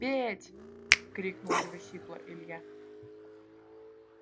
петь крикнул его сипло илья